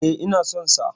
E, ina son sa.